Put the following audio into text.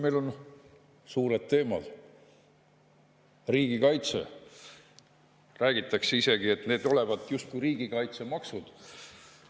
Meil on suured teemad, näiteks riigikaitse, räägitakse isegi, et olevat justkui riigikaitsemaksud.